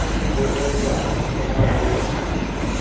ho qekwa le ha ho